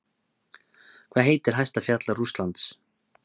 Hvað heitir hæsta fjall Rússlands?